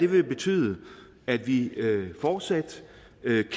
vil betyde at vi fortsat